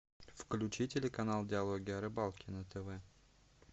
включи телеканал диалоги о рыбалке на тв